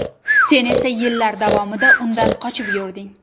Sen esa yillar davomida undan qochib yurding.